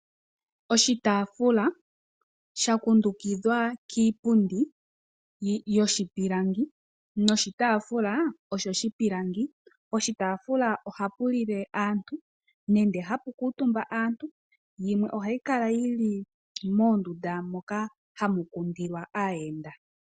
Oshitaafula sha kundukidhwa kiipundi yoshipilangi noshitaafula osho shipilangi . Poshitaafula ohapu lile aantu nenge hapu kuutumba aantu yimwe ohayi kala moondunda mono hamu kundilwa aayenda.